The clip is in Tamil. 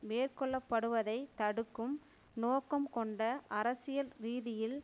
மேற்கொள்ளப்படுவதைத் தடுக்கும் நோக்கம் கொண்ட அரசியல் ரீதியில்